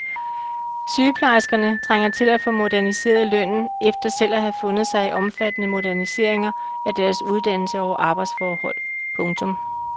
Sygeplejerskerne trænger til at få moderniseret lønnen efter selv at have fundet sig i omfattende moderniseringer af deres uddannelse og arbejdsforhold. punktum